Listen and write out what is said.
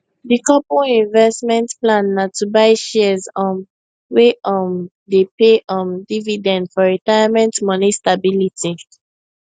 di couple investment plan na to buy shares um wey um dey pay um dividend for retirement money stability